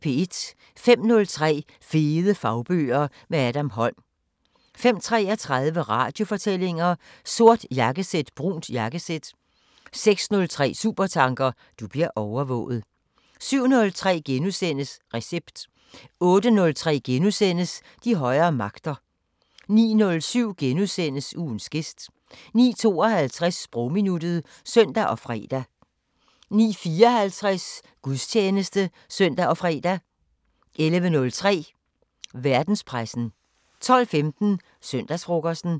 05:03: Fede fagbøger – med Adam Holm 05:33: Radiofortællinger: Sort jakkesæt – brunt jakkesæt 06:03: Supertanker: Du bliver overvåget 07:03: Recept * 08:03: De højere magter * 09:07: Ugens gæst * 09:52: Sprogminuttet (søn og fre) 09:54: Gudstjeneste (søn og fre) 11:03: Verdenspressen 12:15: Søndagsfrokosten